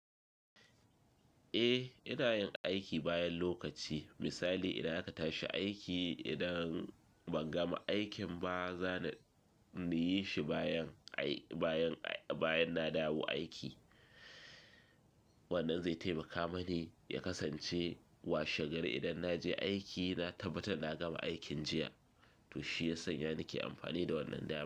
Eh ina yin aiki bayan lokaci. Misali idan aka tashi aiki idan ban gama aikin ba za ni yi shi bayan, bayan, bayan na dawo aiki. Wannan zai taimaka mani ya kasance washe gari idan na je aiki na tabbata na gama aikin jiya to shi ya sanya nake amfani da wannan dama.